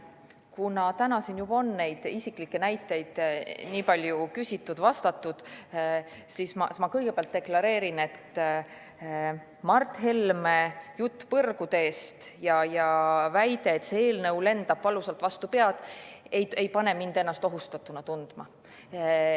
Kuna täna on siin juba nende isiklike näidete kohta nii palju küsitud-vastatud, siis ma kõigepealt deklareerin, et Mart Helme jutt põrguteest ja väide, et see eelnõu lendab valusalt vastu pead, ei pane mind ennast ohustatuna tundma.